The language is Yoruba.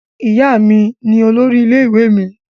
Ìyá mi ní olórí ilé ìwé mí